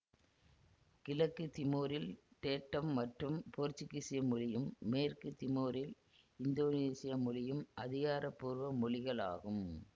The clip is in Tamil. கிழக்கு திமோரில் டேட்டம் மற்றும் போர்த்துக்கீச மொழியும் மேற்கு திமோரில் இந்தோனீசிய மொழியும் அதிகாரபூர்வ மொழிகள் ஆகும்